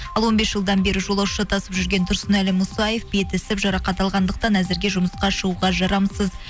ал он бес жылдан бері жолаушы тасып жүрген тұрсынәлі мұсаев беті ісіп жарақат алғандықтан әзірге жұмысқа шығуға жарамсыз